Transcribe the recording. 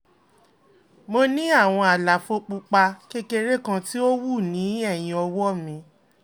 mo ní àwọn àlàfo pupa kékeré kan tí ó wú ní ẹ̀yìn ọwọ́ mi